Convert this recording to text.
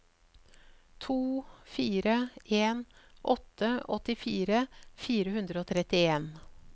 to fire en åtte åttifire fire hundre og trettien